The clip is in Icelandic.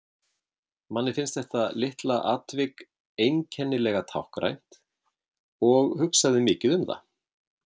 Manni fannst þetta litla atvik einkennilega táknrænt og hugsaði mikið um það.